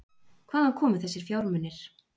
Hvaðan komu þessir fjármunir?